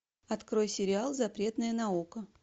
открой сериал запретная наука